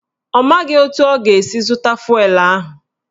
Ọ maghị etu ọ ga-esi zụta fụelụ ahụ.